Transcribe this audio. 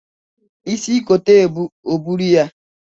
Isi kote ebu, o buru ya!